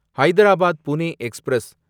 Hyderabad Pune express